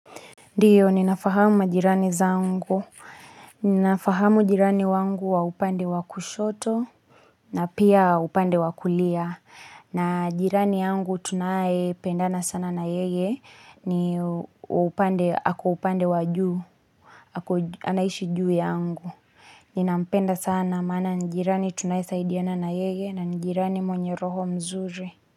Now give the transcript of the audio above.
Ndiyo ninafahamu majirani zangu. Ninafahamu jirani wangu wa upande wakushoto, na pia upande wakulia, na jirani yangu tunaye pendana sana na yeye, ni upande, hako upande wajuu, hako anaishi juu yangu. Ninampenda sana maana ni jirani tunaye saidiana na yeye, na ni jirani mwenye roho mzuri.